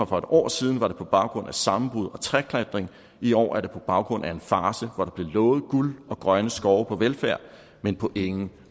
for et år siden var det på baggrund af sammenbrud og træklatring i år er det på baggrund af en farce hvor der blev lovet guld og grønne skove på velfærd men på ingen